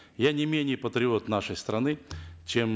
я не менее патриот нашей страны чем